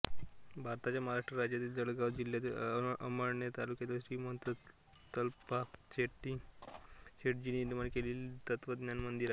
भारताच्या महाराष्ट्र राज्यातील जळगाव जिल्ह्यातीलअमळनेर तालुक्यात श्रीमंत प्तताप शेटजींनी निर्माण केलेले हे तत्वज्ञान मंदिर आहे